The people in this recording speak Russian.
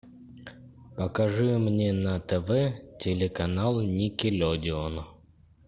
покажи мне на тв телеканал никелодеон